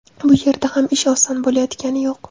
Bu yerda ham ish oson bo‘layotgani yo‘q.